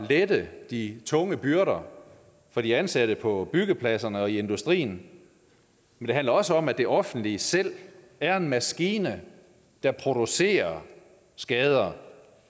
at lette de tunge byrder for de ansatte på byggepladserne og i industrien men det handler også om at det offentlige selv er en maskine der producerer skader